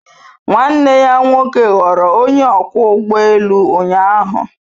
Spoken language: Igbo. Nwanne ya nwoke ghọrọ onye ọkwọ ụgbọ elu ụnyaahụ.